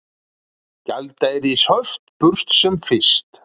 Gjaldeyrishöft burt sem fyrst